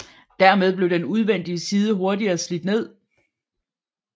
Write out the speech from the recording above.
Dermed blev den udvendige side hurtigere slidt ned